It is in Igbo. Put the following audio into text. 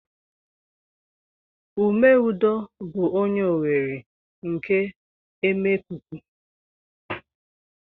Ume Udo bu onye Owerri nke Emekuku.